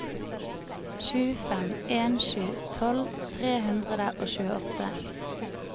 sju fem en sju tolv tre hundre og tjueåtte